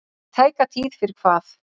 Í tæka tíð fyrir hvað?